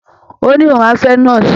Ó ní òun á fẹ́ nọ́ọ̀sì